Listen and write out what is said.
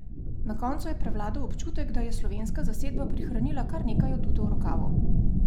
Na koncu je prevladal občutek, da je slovenska zasedba prihranila kar nekaj adutov v rokavu.